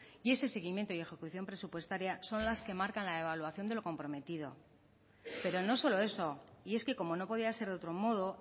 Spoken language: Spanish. y ese seguimiento y ejecución presupuestaria son las que marcan la evaluación de lo comprometido pero no solo eso y es que como no podía ser de otro modo